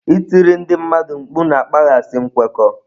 Ịtiri ndị mmadụ mkpu na-akpaghasị nkwekọ.